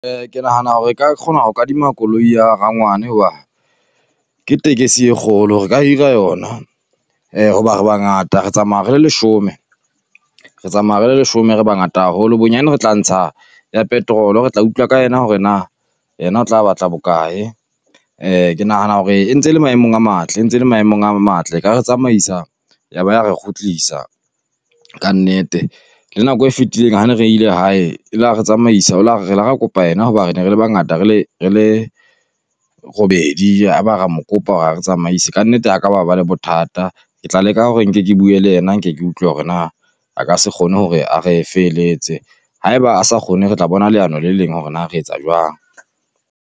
ke nahana hore re ka kgona ho kadima koloi ya rangwane hoba ke tekesi e kgolo re ka hira yona, hoba re bangata re tsamaya re le leshome. Re tsamaya re le leshome re bangata haholo bonyane re tla ntsha ya petrol re tla utlwa ka yena hore na ena o tla batla bokae, ke nahana hore e ntse le maemong a matle e ntse le maemong a matle, e ka re tsamaisa ya ba ya re kgutlisa kannete. Le nako e fetileng ha ne re ile hae e la re tsamaisa o la re re la ra kopa yena hoba re ne re le bangata re le re le robedi, ya ba ra mo kopa hore a re tsamaise kannete ha ka ba ba le bothata. Ke tla leka hore nke ke bue le yena nke ke utlwe hore na a ka se kgone hore a re felehetse? Haeba a sa kgone re tla bona leano le leng hore na re etsa jwang.